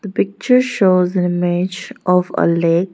the picture shows an image of a lake.